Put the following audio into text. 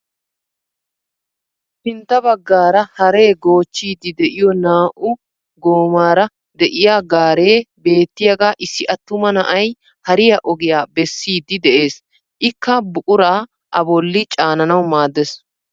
Sintta baggaara haree goochchiidi de'iyoo naa"u goomara de'iyaa gaaree beettiyaaga issi attuma na'ay hariyaa ogiyaa bessiiddi de'ees. ikka buquraa a bolli cananawu maaddees.